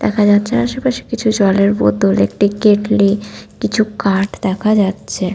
দেখা যাচ্ছে আশেপাশ কিছু জলের বোতল একটি একটি কেটলি কিছু কাঠ দেখা যাচ্ছে ।